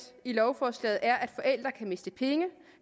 i lovforslaget er at forældre kan miste penge